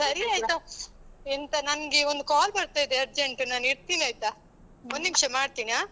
ಸರಿ ಆಯ್ತಾ, ಎಂತ ನನ್ಗೆ ಒಂದು call ಬರ್ತಾ ಇದೆ urgent , ನಾನಿಡ್ತೀನಾಯ್ತಾ? ಒಂದ್ನಿಮ್ಷ ಮಾಡ್ತೀನಿ ಆ.